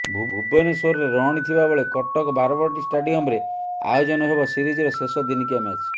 ଭୁବନେଶ୍ୱରରେ ରହଣି ଥିବା ବେଳେ କଟକ ବାରବାଟୀ ଷ୍ଟାଡିୟମରେ ଆୟୋଜନ ହେବ ସିରିଜର ଶେଷ ଦିନିକିଆ ମ୍ୟାଚ